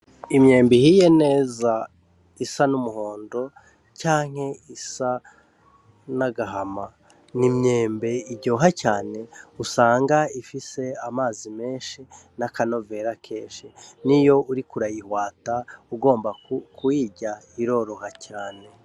Imyembe ihiye neza, isa n'umuhondo canke isa n'agahama. Ni imyembe iryoha cane, usanga ifise amazi menshi n'akanovera kenshi. N'iyo uriko urayihwata ugomba kurirya, biroroha cane.